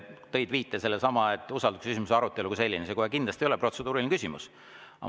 Tõid sellesama viite, et usaldusküsimuse arutelu kui selline kohe kindlasti ei ole protseduuriline küsimus.